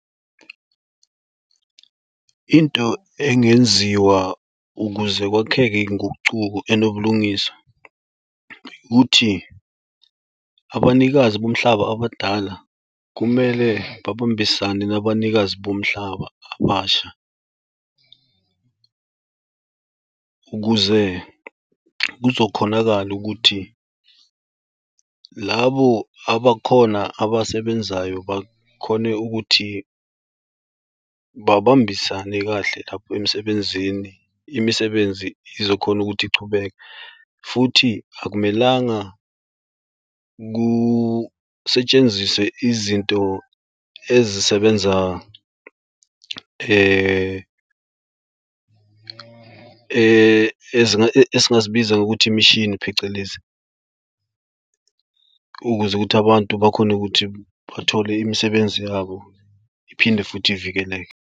Into engenziwa ukuze kwakheke ngocubo enobulungiswa, ukuthi abanikazi bomhlaba abadala kumele babambisane nabanikazi bomhlaba abasha, ukuze kuzokhonakala ukuthi labo abakhona abasebenzayo bakhone ukuthi babambisane kahle lapho emisebenzini. Imisebenzi izokhona ukuthi ichubeke futhi akumelanga kusetshenziswe izinto ezisebenza esingazibiza ngokuthi imishini phecelezi ukuze ukuthi abantu bakhone ukuthi bathole imisebenzi yabo iphinde futhi ivikeleke.